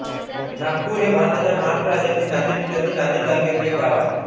नागापूर हे भारताच्या महाराष्ट्र राज्यातील नांदेड जिल्ह्यातील नांदेड तालुक्यातील एक गाव आहे